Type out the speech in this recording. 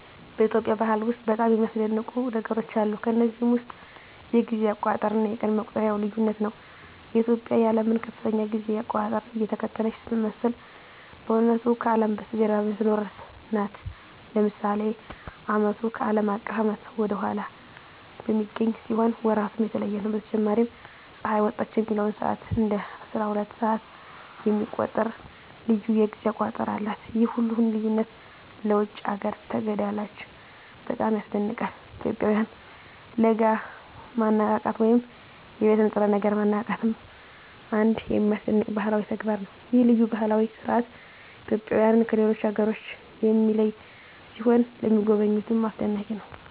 በኢትዮጵያ ባህል ውስጥ በጣም የሚያስደንቁ ነገሮች አሉ። ከነዚህም ውስጥ የጊዜ አቆጣጠር እና የቀን መቁጠሪያው ልዩነት ነው። ኢትዮጵያ የዓለምን ከፍተኛ የጊዜ አቆጣጠር እየተከተለች ስትመስል በእውነቱ ከአለም በስተጀርባ የምትኖር ናት። ለምሳሌ ዓመቱ ከአለም አቀፍ ዓመት ወደ ኋላ በሚገኝ ሲሆን ወራቱም የተለየ ነው። በተጨማሪም ፀሐይ ወጣች የሚለውን ሰዓት እንደ አስራሁለት ሰዓት የሚቆጥር ልዩ የጊዜ አቆጣጠር አላት። ይህ ሁሉ ልዩነት ለውጭ አገር ተጋዳላዮች በጣም ያስደንቃል። የኢትዮጵያውያን ለጋ ማነቃቃት ወይም የቤት ንጥረ ነገር ማነቃቃትም አንድ የሚያስደንቅ ባህላዊ ተግባር ነው። ይህ ልዩ ባህላዊ ሥርዓት ኢትዮጵያውያንን ከሌሎች አገሮች የሚለይ ሲሆን ለሚጎበኙትም አስደናቂ ነው።